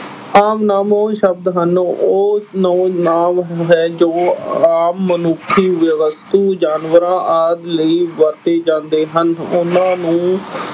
ਆਮ ਨਾਂਵ ਉਹ ਸ਼ਬਦ ਹਨ ਉਹ ਨ ਅਹ ਨਾਂਵ ਹੈ ਜੋ ਆਮ ਮਨੁੱਖੀ ਵਿ ਅਹ ਵਸਤੂ, ਜਾਨਵਰਾਂ ਆਦਿ ਲਈ ਵਰਤੇ ਜਾਂਦੇ ਹਨ। ਉਹਨਾਂ ਨੂੰ